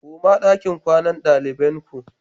Koma dakin kwanan dalibain ku!